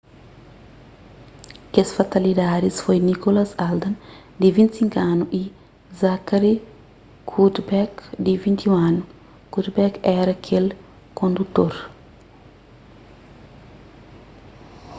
kes fatalidadis foi nicholas alden di 25 anu y zachary cuddeback di 21 anu cuddeback éra kel kondutor